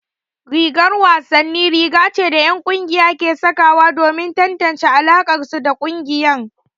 Rigar wasanni riga ce da 'yan kungiya ke sanyawa domin tantance alakarsu da kungiyar.